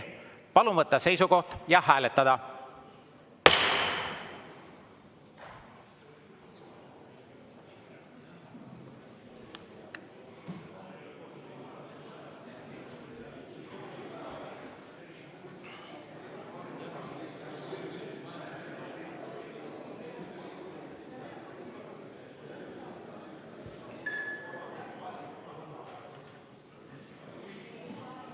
Palun võtta seisukoht ja hääletada!